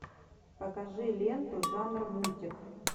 покажи ленту жанр мультик